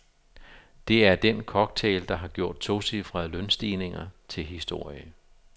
Det er den cocktail, der har gjort tocifrede lønstigninger til historie.